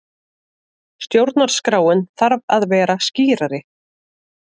Stjórnarskráin þarf að vera skýrari